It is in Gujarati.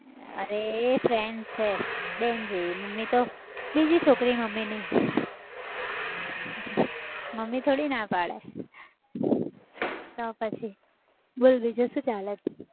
અરે friend છે બેન જેવી. મમ્મી તો બીજી છોકરી મમ્મીની મમ્મી થોડી ના પાડે તો પછી. બોલ બીજું શું ચાલે છે?